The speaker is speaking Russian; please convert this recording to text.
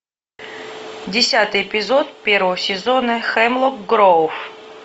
десятый эпизод первого сезона хемлок гроув